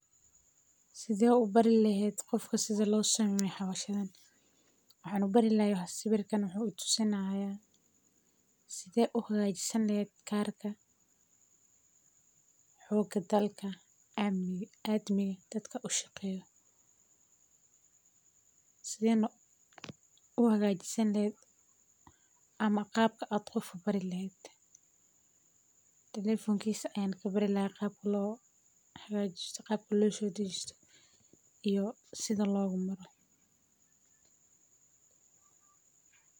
Sideed u bari lahayd qof sida loo sameeyo hawshan, waxaanu barilaa sawirta wuxuu u tusinaya side u hogaajisanleyd kaarka xogdalka aamni aadmi dadka ushaqeyo. Sidii nooc u hogaajiseen leed ama qaabka aad u qof barilaan. telefonkiska aan ka barilaa qaab ku loo hogaajis, qaab ku luu soo digiso iyo sida loo gumaro.